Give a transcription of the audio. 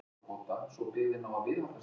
Stríðinu við sannleikann